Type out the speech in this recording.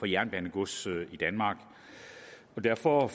jernbanegods i danmark og derfor